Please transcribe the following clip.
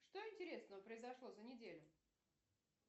что интересного произошло за неделю